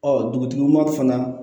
Ɔ dugutigi ma fana